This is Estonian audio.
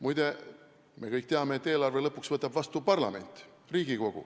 Muide, me kõik teame, et eelarve võtab lõpuks vastu parlament.